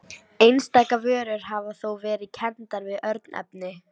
Einstaka vörur hafa þó verið kenndar við örnefni.